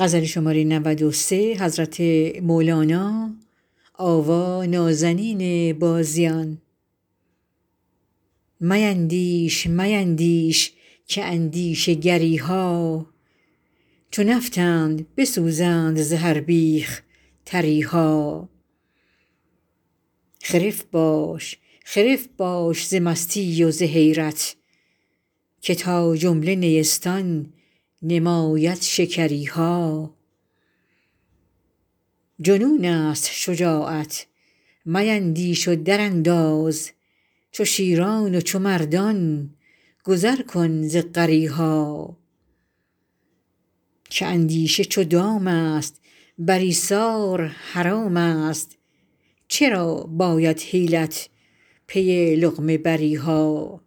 میندیش میندیش که اندیشه گری ها چو نفطند بسوزند ز هر بیخ تری ها خرف باش خرف باش ز مستی و ز حیرت که تا جمله نیستان نماید شکری ها جنونست شجاعت میندیش و درانداز چو شیران و چو مردان گذر کن ز غری ها که اندیشه چو دامست بر ایثار حرامست چرا باید حیلت پی لقمه بری ها